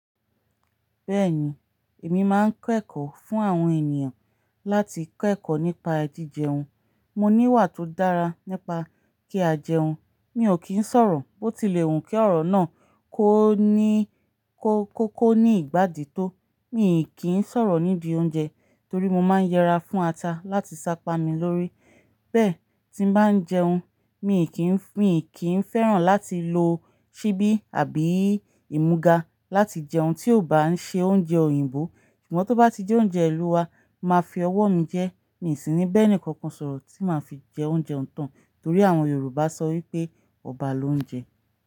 Bẹ́ẹ̀ni, èmi máa ń kẹ́kọ̀ọ́ fún àwọn ènìyàn láti kẹ́kọ̀ọ́ nípa ji jẹun. Mo ní ìwà tó dára nípa kí a jẹun, mi ò kì í sọ̀rọ̀, bó ti lè wù kí ọ̀rọ̀ náà kó ní, kó, kó kó ní ìgbádì tó. Mí ì kí ń sọ̀rọ̀ nídi oúnjẹ torí mo máa ń yẹra fún ata láti sápami lórí. Bẹ́ẹ̀ tí n bá ń jẹun, mí ì kí ń, mí ì kí ń fẹ́ràn láti lo ṣíbí àbí ìmúga láti jẹun tí ò bá ń ṣe oúnjẹ òyìnbó. Ṣùgbọ́n tó bá ti jẹ oúnjẹ ìlú wa, máa fi ọwọ́ mi jẹ́. Mí sì ní bẹ́ẹ̀ní kankan sọ̀rọ̀ tí màá fi jẹ oúnjẹ ọ̀tán torí àwọn Yorùbá sọ wípé ọba ló ń jẹ.